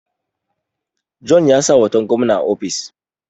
Jona ya sa hoton gwamna a ofis